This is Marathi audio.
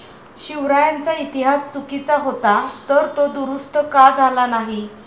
शिवरायांचा इतिहास चुकीचा होता तर, तो दुरुस्त का झाला नाही?'